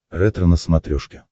ретро на смотрешке